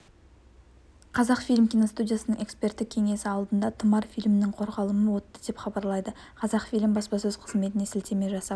қазақфильм киностудиясының эксперттік кеңесі алдында тұмар фильмінің қорғалымы өтті деп хабарлайды қазақфильм баспасөз қызметіне сілтеме жасап